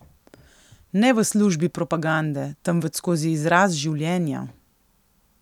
Ne v službi propagande, temveč skozi izraz življenja.